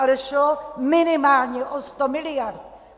Ale šlo minimálně o 100 miliard.